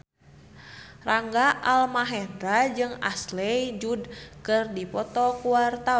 Rangga Almahendra jeung Ashley Judd keur dipoto ku wartawan